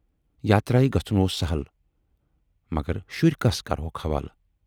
یاترایہِ گَژھُن اوس سہٕل مگر شُرۍ کَس کرٕہوکھ حوالہٕ۔